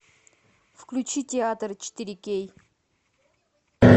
включи театр четыре кей